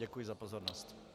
Děkuji za pozornost.